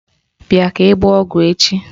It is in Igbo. Bịa ka ị gbaa ọgwụ echi!